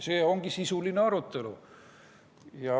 See ongi sisuline arutelu.